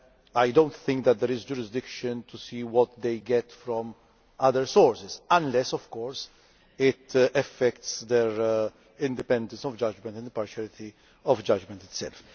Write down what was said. I do not think that there is jurisdiction to see what they get from other sources, unless of course it affects their independence of judgment and the impartiality of the judgment itself.